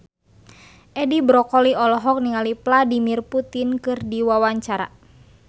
Edi Brokoli olohok ningali Vladimir Putin keur diwawancara